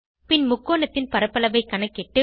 பின் முக்கோணத்தின் பரப்பளவை கணக்கிட்டு